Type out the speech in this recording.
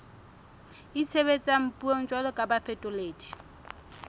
itshebetsang puong jwalo ka bafetoledi